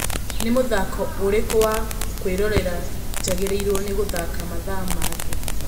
nĩ mũthako ũrĩkũ wa kũĩrorera njagarĩrwo ni gũthaka mathaa mangĩ